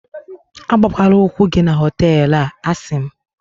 agbakwala ụkwụ gị na họtelu a, a sị m